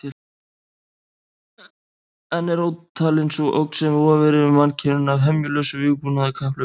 Enn er ótalin sú ógn sem vofir yfir mannkyninu af hemjulausu vígbúnaðarkapphlaupi.